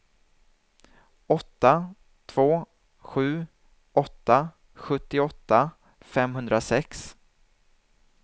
åtta två sju åtta sjuttioåtta femhundrasex